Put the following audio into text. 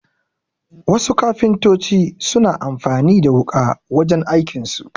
Wasu kafintoci suna amfani da wuƙa wajen aikin su